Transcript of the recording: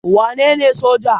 Wa nene soja?